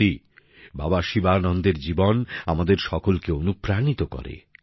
সত্যিই বাবা শিবানন্দের জীবন আমাদের সকলকে অনুপ্রাণিত করে